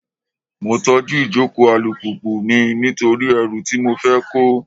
Mo tọ́jú ìjókòó alùpùpù mi nítorí ẹrù tí mo fẹ́ kó.